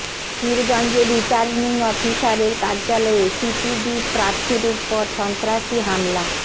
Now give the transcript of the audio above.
পীরগঞ্জে returning অফিসারের কার্যালয়ে CPB প্রার্থীর উপর সন্ত্রাসী হামলা